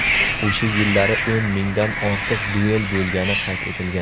O‘sha yillari o‘n mingdan ortiq duel bo‘lgani qayd etilgan.